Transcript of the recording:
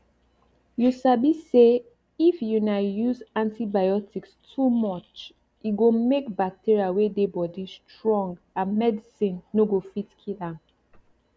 you sabi sayif una use antibiotics too muche go make bacteria wey dey body strong and medicine no go fit kill am